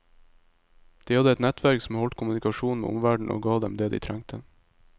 De hadde et nettverk som holdt kommunikasjon med omverden og ga dem det de trengte.